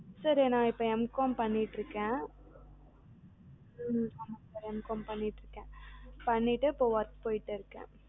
sir நா இப்பம் Mcom பண்ணிட்டுருக்கன் Mcom பண்ணிட்டுருக்கன் பண்ணிட்டு work போய்ட்டுருக்கன்